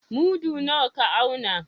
Mudu nawa ka auna?